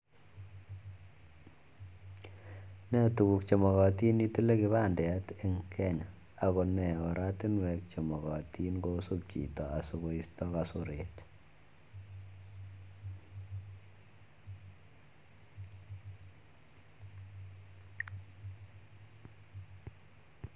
Ne tuguk chemakatin itile kipandeteng Kenya ako nee oratinwek chemakatin kosuup chito asikoisto kasoret